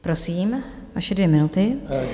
Prosím, vaše dvě minuty.